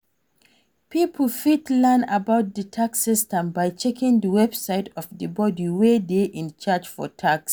Pipo fit learn about di yax system by checking di website of di body wey dey in charge of tax